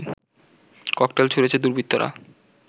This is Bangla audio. ককটেল ছুঁড়েছে দুর্বৃত্তরা